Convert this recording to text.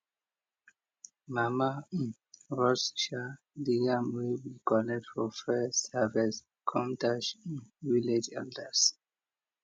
mama roast de yam wey we collect for first harvest com dash village elders